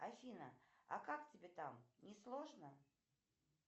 афина а как тебе там не сложно